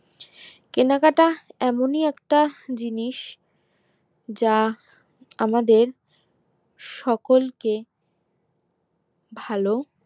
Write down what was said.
কেনাকাটা এমনই একটা জিনিস যা আমাদের সকলকে ভালো